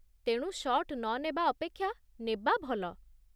ତେଣୁ ଶଟ୍ ନ ନେବା ଅପେକ୍ଷା ନେବା ଭଲ।